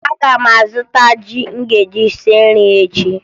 Aga m azụta ji m ga-eji sie nri echi